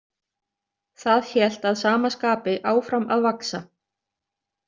Það hélt að sama skapi áfram að vaxa.